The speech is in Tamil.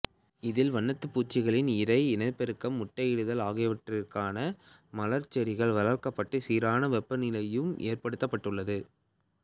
இதில் வண்ணத்துப் பூச்சிகளின் இரை இனப்பெருக்கம் முட்டையிடுதல் ஆகியவற்றுக்கான மலர்ச் செடிகள் வளர்க்கப்பட்டு சீரான வெப்பநிலையும் ஏற்படுத்தப்பட்டுள்ளது